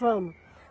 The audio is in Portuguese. Vamos.